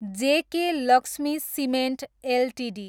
JK Lakshmi cement Ltd